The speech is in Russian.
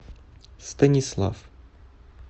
станислав